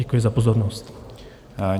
Děkuji za pozornost.